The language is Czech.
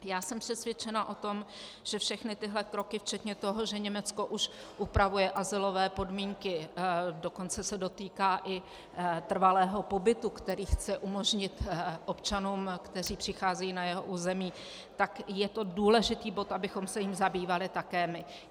Já jsem přesvědčena o tom, že všechny tyto kroky včetně toho, že Německo už upravuje azylové podmínky, dokonce se dotýká i trvalého pobytu, který chce umožnit občanům, kteří přicházejí na jeho území, tak je to důležitý bod, abychom se jím zabývali také my.